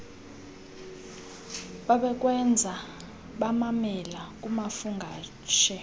babekwenza bamamela kumafungwashe